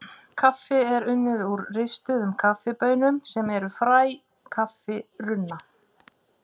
Kaffi er unnið úr ristuðum kaffibaunum sem eru fræ kaffirunna.